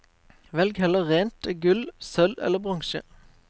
Velg heller rent gull, sølv eller bronse.